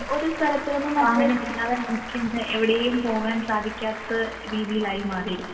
അതെ വാഹനം ഇല്ലാതെ നമുക്ക് ഇന്ന് എവിടെയും പോവാൻ സാധിക്കാത്ത രീതിയിലായി മാറി.